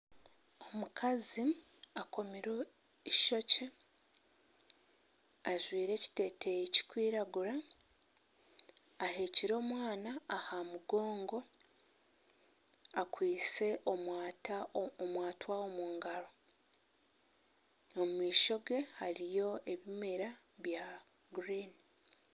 Omukazi akomire ishokye, ajwire ekiteteyi kikwiragura, ahekire omwana aha mugongo. Akwise omwata omu ngaaro. Omu maisho ge, hariyo ebimera bya gurini.